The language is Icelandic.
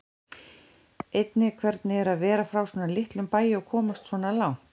Einnig hvernig er að vera frá svona litlum bæ og komast svona langt?